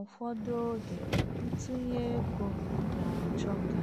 Ụfọdụ oge ntụnye ego na-achọ ka